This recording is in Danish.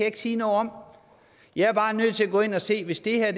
ikke sige noget om jeg er bare nødt til at gå ind og se hvis det her